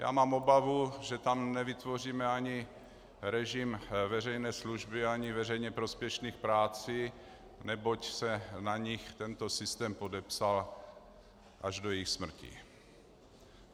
Já mám obavu, že tam nevytvoříme ani režim veřejné služby, ani veřejně prospěšných prací, neboť se na nich tento systém podepsal až do jejich smrti.